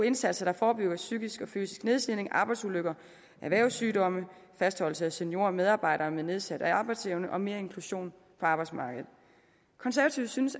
indsatser der forebygger psykisk og fysisk nedslidning arbejdsulykker erhvervssygdomme fastholdelse af seniorer og medarbejdere med nedsat arbejdsevne og mere inklusion på arbejdsmarkedet konservative synes